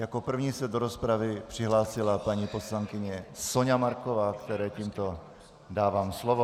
Jako první se do rozpravy přihlásila paní poslankyně Soňa Marková, které tímto dávám slovo.